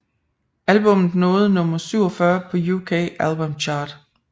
Albummet nåede nummer 47 på UK Album Chart